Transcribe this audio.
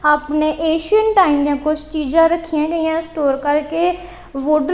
ਆਪਨੇ ancient time ਦਿਆਂ ਕੁਝ ਚੀਜ਼ਾਂ ਰੱਖੀਆਂ ਗਈਆਂ ਸਟੋਰ ਕਰਕੇ ਵੁਡ-